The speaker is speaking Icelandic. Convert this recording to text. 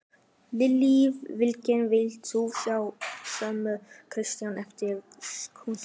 Lillý Valgerður: Vilt þú sjá sömu ríkisstjórn eftir kosningar?